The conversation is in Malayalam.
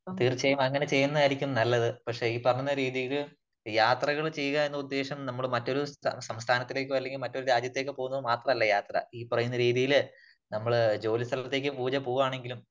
തീർച്ചയായും അങ്ങനെ ചെയ്യുന്നതായിരിക്കും നല്ലത്. പക്ഷേ ഈ പറയുന്ന രീതിയില് യാത്രകൾ ചെയ്യുക എന്ന ഉദ്ദേശം നമ്മള് മറ്റൊരു സംസ്ഥാനത്തിലേക്കൊ അല്ലെങ്കിൽ മറ്റൊരു രാജ്യത്തേക്ക് പോകുന്നത് മാത്രമല്ല യാത്ര. ഈ പറയുന്ന രീതിയില് നമ്മള് ജോലി സ്ഥലത്തേക്ക് പൂജ പോകുകയാണെങ്കിലും